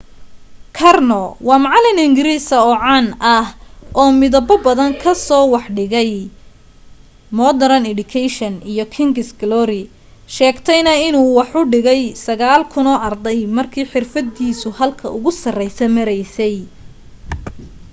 karno waa macalin ingiriisi caan ah oo midabo badan kaaso wax ka dhigay modern education iyo king's glory sheegtayna inuu wax u dhigay 9,000 arday markii xirfadiisu halka ugu sarreysa maraysay